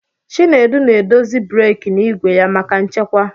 Chinedu na-edozi breeki n'igwe ya maka nchekwa.